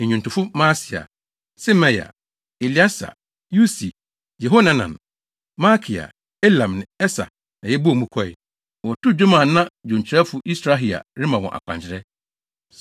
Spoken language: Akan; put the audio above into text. ne nnwontofo Maaseia, Semaia, Eleasar, Usi, Yehohanan, Malkia, Elam ne Eser na yɛbɔɔ mu kɔe. Wɔtoo nnwom a na dwonkyerɛfo Yisrahia rema wɔn akwankyerɛ.